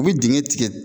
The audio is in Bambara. U bɛ dingɛ tigɛ